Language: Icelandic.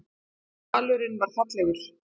Dalurinn var fallegur